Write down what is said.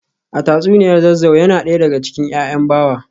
A tatsuniya Zazzau yana daya daga cikin ‘ya’yan Bawa